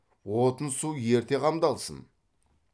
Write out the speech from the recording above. отын су ерте қамдалсын